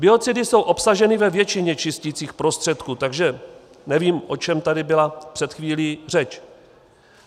Biocidy jsou obsaženy ve většině čisticích prostředků, takže nevím, o čem tady byla před chvílí řeč.